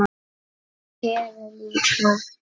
Heru líka.